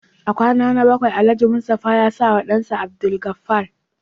A kwana na bakwai Alhaji Mustapha ya sawa dansa Abdulgafar